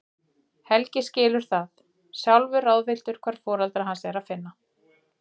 Helgi skilur það, sjálfur ráðvilltur hvar foreldra hans er að finna.